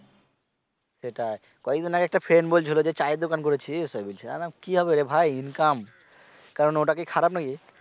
সেটাই কয়েকদিন আগে একটা friend বলছিলো যে চায়ের দোকান করেছিস ওয় বলছে আমি বলি কি হবে রে ভাই income কারণ ওটা কি খারাপ নাকি?